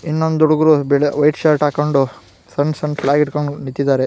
ಇನ್ ಒಂದು ಹುಡಗುರು white shirt ಹಾಕೊಂಡು ಸನ್ ಸನ್ ಫ್ಲಾಗ್ ಹಿಡ್ಕೊಂಡು ನಿಂತಿದ್ದಾರೆ .